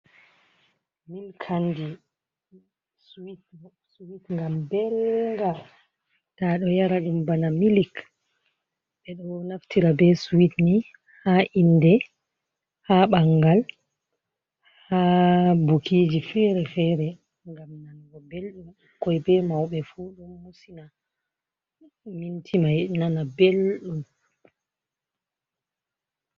Milkandi swit nga belga ta ɗo yara ɗum bana milik, ɓe ɗo naftira be swit ni ha inde, ha ɓangal, ha bukiji fere-fere ngam nanugo belɗum ɓukkoi be mauɓe fu ɗo musina minti mai nana belɗum.